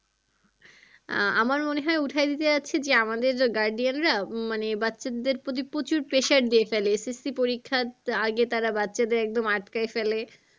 আহ আমার মনে হয় উঠাই দিতে চাইছে যে আমাদের guardian রা মানে বাচ্চাদের প্রতি প্রচুর pressure দিয়ে ফেলে SSC পরিক্ষার আগে তারা বাচ্চাদের একদম আটকায় ফেলে